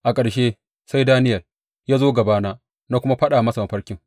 A ƙarshe, sai Daniyel ya zo gabana na kuma faɗa masa mafarkin.